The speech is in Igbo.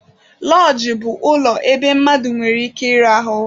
Lọọjị bụ ulọ ebe mmadụ nwere ike ịrahụ.